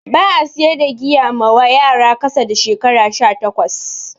Ba'a siyar da giya mawa yara kasa da shekara 18